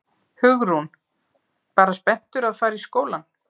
Hugrún: Bara spenntur að fara í skólann?